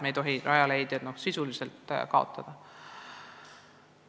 Me ei tohi Rajaleidjaid sulgeda.